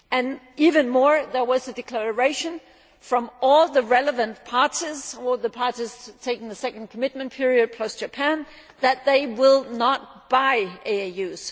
What is more, there was a declaration from all the relevant parties all the parties taking the second commitment period post Japan that they will not buy AAUs.